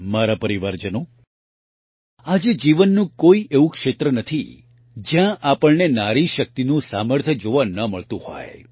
મારા પરિવારજનો આજે જીવનનું કોઇ એવું ક્ષેત્ર નથી જયાં આપણને નારીશક્તિનું સામર્થ્ય જોવા ન મળતું હોય